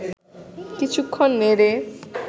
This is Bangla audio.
কিছুক্ষণ নেড়ে